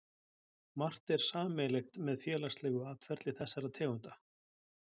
Margt er sameiginlegt með félagslegu atferli þessara tegunda.